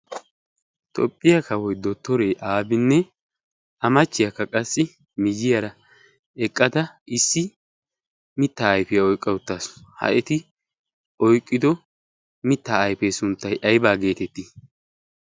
toophphiyaa kawoy do toree aafinne a machchiyaakka qassi miziyaara eqqada issi mitta aifiyaa oiqqauttaasu ha eti oiqqido mitta aifee sunttai aibaa geetettii?